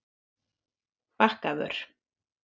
Bakkavör